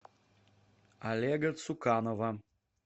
олега цуканова